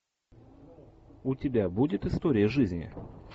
у тебя будет история жизни